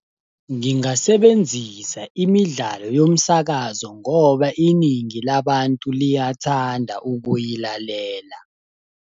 Ngingasebenzisa imidlalo yomsakazo ngoba iningi labantu liyathanda ukuyilalela.